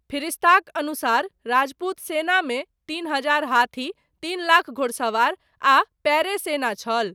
फिरिष्ताक अनुसार, राजपूत सेनामे तीन हजार हाथी, तीन लाख घोड़सवार आ पयरे सेना छल।